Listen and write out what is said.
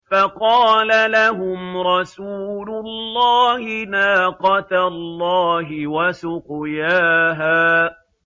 فَقَالَ لَهُمْ رَسُولُ اللَّهِ نَاقَةَ اللَّهِ وَسُقْيَاهَا